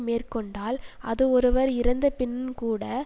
மேற்கொண்டால் அது ஒருவர் இறந்தபின் கூட